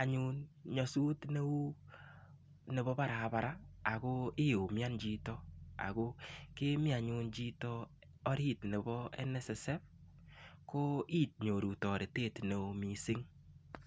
anyun nyosut kou nebo barabara akiumian chito akokemi orit nebo NSSF ko inyoru toret neo missing.